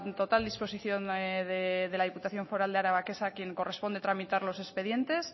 total disposición de la diputación foral de araba que es a quien corresponde tramitar los expedientes